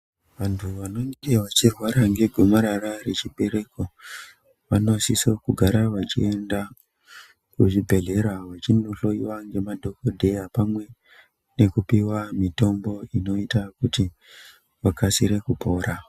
Vantu vanenge vachirwara ngegomarara rechibereko vanosise kugare vachienda kuchibhedhlera vachindohloyiwa ngemadhokodheya pamwe ngekupiwa mitombo inoite kuti vakasire kupora.